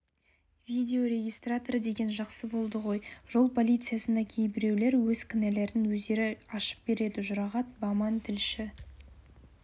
видеорегистратор деген жақсы болды ғой жол полициясына кейбіреулер өз кінәләрін өздері ашып береді жұрағат баман тілші